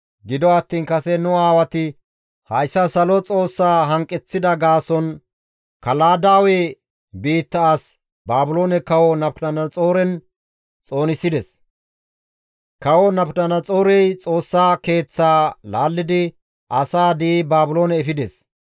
gido attiin kase nu aawati hayssa Salo Xoossaa hanqeththida gaason Kaladaawe biitta as Baabiloone kawo Nabukadanaxooren xoonisides; kawo Nabukadanaxoorey Xoossa Keeththaa laallidi asaa di7i Baabiloone efides.